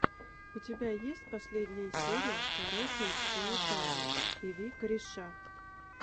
у тебя есть последняя серия корешэндшколотави и ви кореша